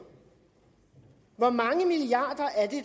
hvor mange milliarder